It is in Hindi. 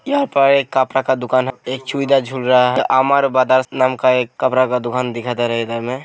यहाँ पर कपरा का दुकान है एक चुइदा झूल रहा है आमार ब्रदर्स नाम का कपरा का दुकान दिखाई दे रहा है इधर में ।